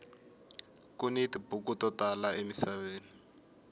kuni tibuku to tala emisaveni